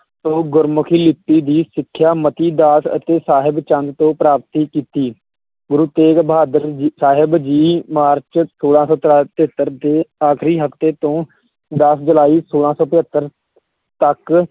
ਤੋਂ ਗੁਰਮੁਖੀ ਲਿਪੀ ਦੀ ਸਿੱਖਿਆ ਮਤੀ ਦਾਸ ਅਤੇ ਸਾਹਿਬ ਚੰਦ ਤੋਂ ਪ੍ਰਾਪਤੀ ਕੀਤੀ, ਗੁਰੂ ਤੇਗ਼ ਬਹਾਦਰ ਜੀ ਸਾਹਿਬ ਜੀ, ਮਾਰਚ ਛੋਲਾਂ ਸੌ ਤਰਾ~ ਤਹੇਤਰ ਦੇ ਆਖ਼ਰੀ ਹਫ਼ਤੇ ਤੋਂ ਦਸ ਜੁਲਾਈ ਛੋਲਾਂ ਸੋ ਪਜੱਤਰ ਤੱਕ